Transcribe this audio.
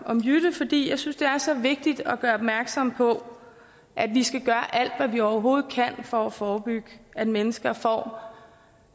om jytte fordi jeg synes det er så vigtigt at gøre opmærksom på at vi skal gøre alt hvad vi overhovedet kan for at forebygge at mennesker får